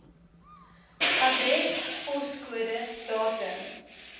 adres poskode datum